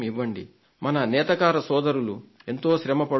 మన చేనేత సోదరులు ఎంతో శ్రమ పడుతున్నారు